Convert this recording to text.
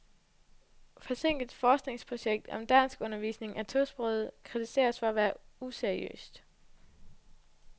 Forsinket forskningsprojekt om danskundervisning af tosprogede kritiseres for at være useriøst.